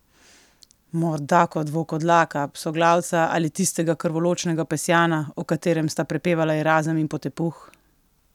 Morda kot volkodlaka, psoglavca ali tistega krvoločnega pesjana, o katerem sta prepevala Erazem in potepuh?